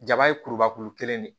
Jaba ye kurubakuru kelen de ye